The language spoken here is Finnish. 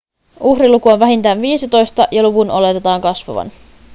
uhriluku on vähintään viisitoista ja luvun oletetaan kasvavan